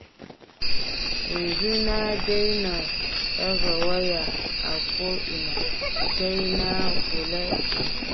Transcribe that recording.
Yanzu na daina ɗaga waya a ko'ina, sai na kula sosai.